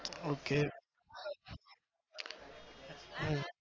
okay હમ